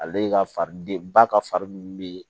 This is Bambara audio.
Ale ka fari den ba ka fari minnu bɛ